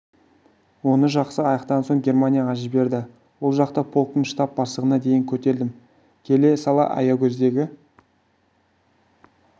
оны жақсы аяқтаған соң германияға жіберді ол жақта полктың штаб бастығына дейін көтерілдім келе сала аягөздегі